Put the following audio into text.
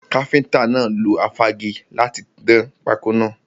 Káfíntà náà lo afági láti dán pákọ́ náà.